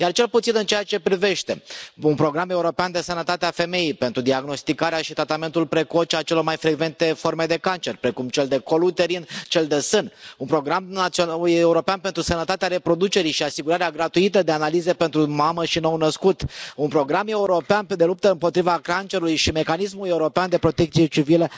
Cel puțin în ceea ce privește un program european de sănătate a femeii pentru diagnosticarea și tratamentul precoce al celor mai frecvente forme de cancer, precum cel de col uterin, cel de sân, un program european pentru sănătatea reproducerii și asigurarea gratuită de analize pentru mamă și nou născut, un program european de luptă împotriva cancerului și mecanismul european de protecție civilă.